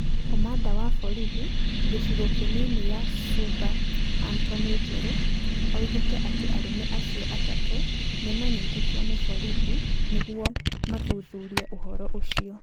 Komanda wa borithi gĩcigo kĩnini ya Suba Antony Njeru oigire atĩ arũme acio atatũ nĩ maanyitĩtwo nĩ borithi nĩguomathuthurie ũhoro ũcio.